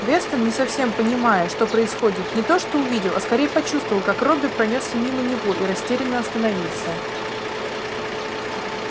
вестон не совсем понимая что происходит не то что увидел а скорее почувствовал как робби пронёсся мимо него и растерянно остановился